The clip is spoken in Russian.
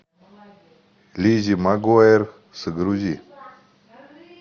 лиззи магуайер загрузи